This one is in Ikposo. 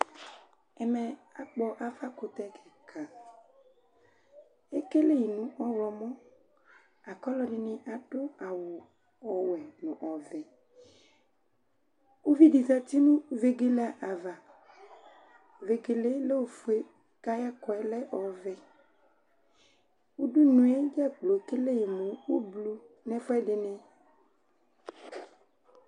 Ɛmɛ akpɔ avakʋtɛ kɩkaEkele yɩ nʋ ɔɣlɔmɔAkɔlɔdɩnɩ adʋ awʋ ɔwɛ nʋ ɔvɛUvi di zati nʋ vegele ava, vegelee lɛ ofue kayɛkʋɛ lɛ ɔvɛUdunue dzagblo ekele yɩ nʋ ʋblu nɛfʋɛdɩnɩ